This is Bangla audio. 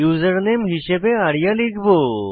ইউজারনেম হিসাবে আরিয়া লিখব